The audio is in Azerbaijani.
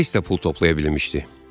Greys də pul toplaya bilmişdi.